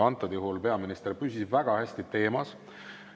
Antud juhul peaminister püsis väga hästi teemas.